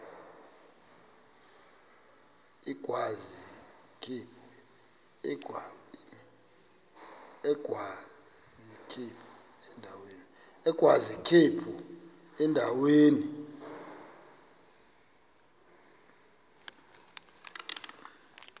agwaz ikhephu endaweni